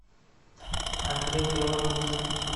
андрей белоус